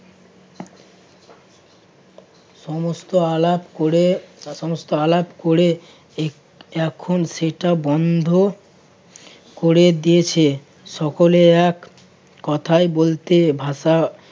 সমস্ত আলাপ করে~ সমস্ত আলাপ করে এখ~ এখন সেটা বন্ধ করে দিয়েছে। সকলে এক কথাই বলতে ভাষা